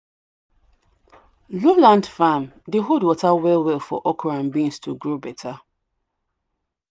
low land farm dey hold water well well for okra and beans to grow better.